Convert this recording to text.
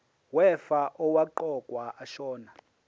wefa owaqokwa ashona